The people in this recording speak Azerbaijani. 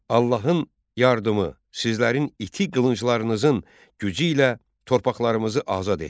Allahın yardımı, sizlərin iti qılınclarınızın gücü ilə torpaqlarımızı azad etdik.